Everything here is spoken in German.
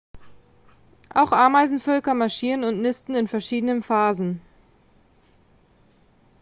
auch ameisenvölker marschieren und nisten in verschiedenen phasen